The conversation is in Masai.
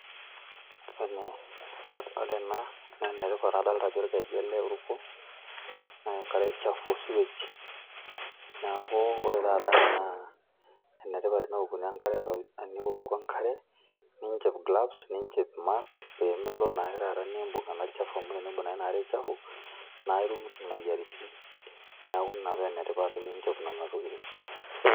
ore ena naa ene tipat, adoolta ajo orkeju ele oruko, naa enkare chafu o sewage neeku ore taa ena naa enetipat tenioku enkare, ninchop glovesvninchop mask pee mintoki melo naa nibung taata olchafu. amu tenibung naa taata ena are chaf naa itum imoyiaritin. neeku ina ene tipat teninchop nena tokitin.